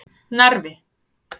Narfi